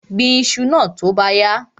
Gbin iṣu náà tó bá yá!